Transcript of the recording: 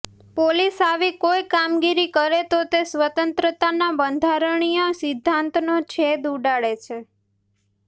police આવી કોઇ કામગીરી કરે તો તે સ્વતંત્રતાના બંધારણીય સિદ્ધાંતનો છેદ ઉડાડે છે